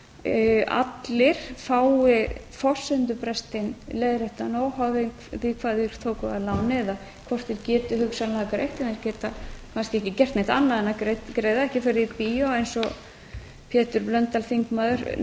að allir fái forsendubrestinn leiðréttan óháð því hvað þeir tóku að láni eða hvort þeir geti hugsanlega greitt en þeir geta kannski ekki gert neitt annað en greiða ekki farið í bíó eins og pétur blöndal þingmaður